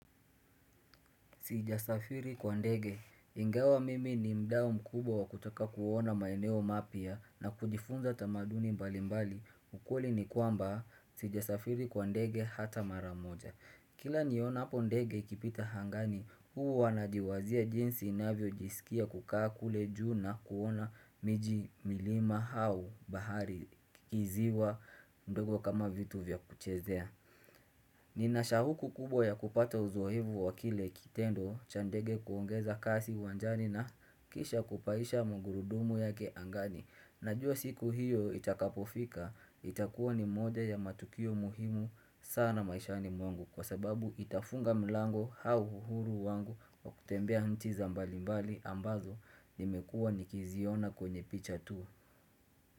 Sijasafiri kwa ndege ingawa mimi ni mdao mkubwa wa kutaka kuona maeneo mapya na kujifunza tamaduni mbali mbali ukweli ni kwamba sijasafiri kwa ndege hata maramoja Kila niona po ndege ikipita hangani huu wanajiwazia jinsi inavyo jisikia kukaa kule juu na kuona miji milima hau bahari kiziwa ndogo kama vitu vya kuchezea Ninashahuku kubwa ya kupata uzoevu wakile kitendo cha ndege kuongeza kasi uwanjani na kisha kupahisha mungurudumu yake angani Najua siku hiyo itakapofika itakuwa ni mode ya matukio muhimu sana maisha ni mwangu Kwa sababu itafunga mlango au uhuru wangu wa kutembea nchi za mbalimbali ambazo nimekuwa nikiziona kwenye picha tu.